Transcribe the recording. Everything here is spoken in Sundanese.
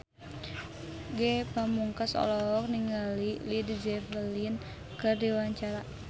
Ge Pamungkas olohok ningali Led Zeppelin keur diwawancara